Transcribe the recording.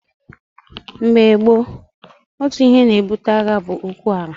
Mgbe gboo, otu ihe na-ebute agha bụ okwu ala.